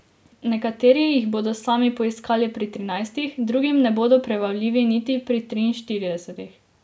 Nekateri jih bodo sami poiskali pri trinajstih, drugim ne bodo prebavljivi niti pri triinštiridesetih.